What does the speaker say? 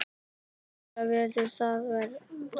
Betra verður það varla.